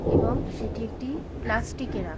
এবং সেটি একটি প্লাস্টিকে রা --